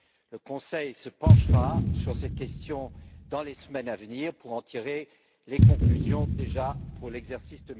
Le Conseil se penchera sur cette question dans les semaines à venir pour en tirer les conclusions, déjà, pour l'exercice